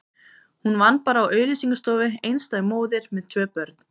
Hún vann bara á auglýsingastofu, einstæð móðir með tvö börn.